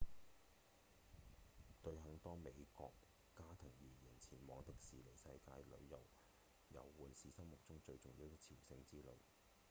對很多美國家庭而言前往迪士尼世界遊玩是心目中最重要的朝聖之旅